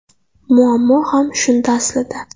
Muammo ham shunda aslida.